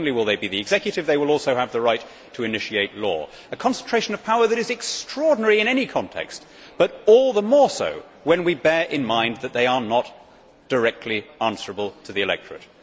Not only will they be the executive, they will also have the right to initiate law a concentration of power that is extraordinary in any context, but all the more so when we bear in mind that they are not directly answerable to the electorate.